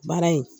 Baara in